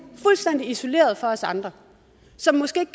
fuldstændig isoleret fra os andre som måske ikke